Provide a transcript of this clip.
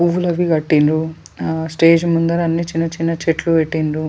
పువ్వులు అవి కట్టిర్రు స్టేజ్ ముందర అన్ని చిన్న చిన్న చెట్లు పెట్టిండ్రు.